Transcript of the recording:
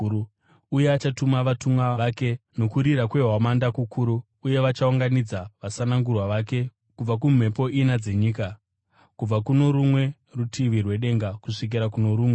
Uye achatuma vatumwa vake nokurira kwehwamanda kukuru uye vachaunganidza vasanangurwa vake kubva kumhepo ina dzenyika, kubva kuno rumwe rutivi rwedenga kusvikira kuno rumwe.